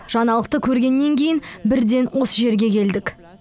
жаңалықты көргеннен кейін бірден осы жерге келдік